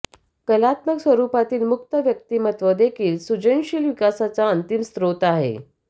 कलात्मक स्वरुपातील मुक्त व्यक्तिमत्व देखील सृजनशील विकासाचा अंतिम स्रोत आहे